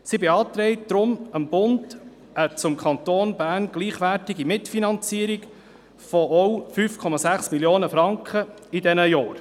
Sie beantragt deshalb dem Bund eine zum Kanton Bern gleichwertige Mitfinanzierung von ebenfalls 5,6 Mio. Franken für diese Jahre.